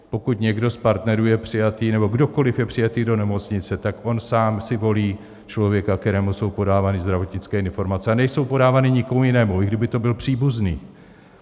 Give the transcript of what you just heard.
Pokud někdo z partnerů je přijatý nebo kdokoliv je přijatý do nemocnice, tak on sám si volí člověka, kterému jsou podávány zdravotnické informace, a nejsou podávány nikomu jinému, i kdyby to byl příbuzný.